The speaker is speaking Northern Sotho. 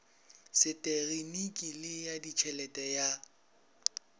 seteginiki le ya ditšhelete ya